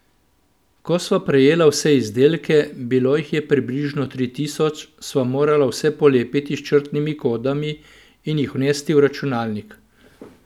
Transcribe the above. Ko sva prejela vse izdelke, bilo jih je približno tri tisoč, sva morala vse polepiti s črtnimi kodami in jih vnesti v računalnik.